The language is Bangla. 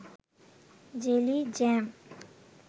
jelly, jam